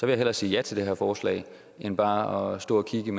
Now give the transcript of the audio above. jeg hellere sige ja til det her forslag end bare at stå og kigge